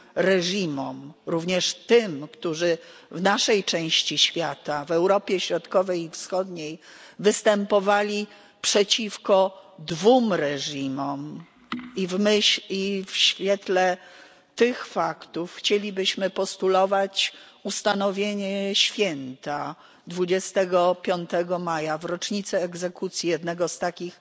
reżimom, również tym, którzy w naszej części świata, w Europie Środkowej i Wschodniej, występowali przeciwko dwóm reżimom, i w świetle tych faktów chcielibyśmy postulować ustanowienie święta 25 maja, w rocznicę egzekucji jednego z takich